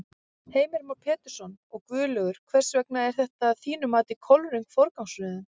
Heimir Már Pétursson: Og Guðlaugur, hvers vegna er þetta að þínu mati kolröng forgangsröðun?